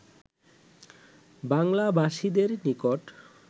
বাংলাভাষীদের নিকট